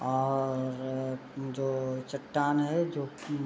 और अअ जो चट्टान है जो कि --